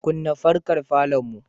Kunna fankar falonmu.